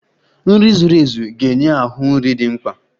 Nri zuru ezu ga-enye ahụ nri dị mkpa.